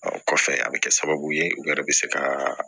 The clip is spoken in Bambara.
Ɔ kɔfɛ a bɛ kɛ sababu ye u yɛrɛ bɛ se ka